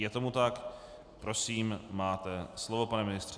Je tomu tak, prosím, máte slovo, pane ministře.